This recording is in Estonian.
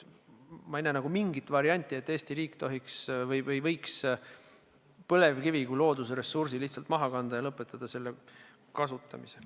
Ma ei näe mingit varianti, et Eesti riik võiks põlevkivi kui loodusressursi lihtsalt maha kanda ja lõpetada selle kasutamise.